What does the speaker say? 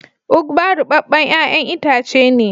"Ugba" rubeben yayan itace ne.